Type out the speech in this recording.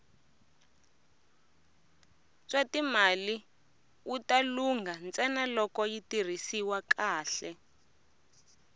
swatimali wita lungha ntsena loko yi tirhisiwa kahle